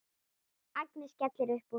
Agnes skellir upp úr.